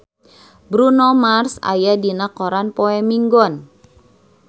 Bruno Mars aya dina koran poe Minggon